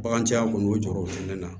Baganciya kɔni y'o jɔrɔ o fɛnɛ na